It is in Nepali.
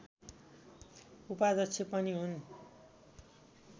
उपाध्यक्ष पनि हुन्